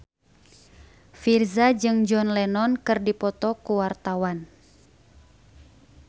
Virzha jeung John Lennon keur dipoto ku wartawan